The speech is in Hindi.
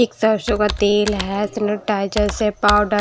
एक सरसों का तेल है सनिटाइजर है पाउडर--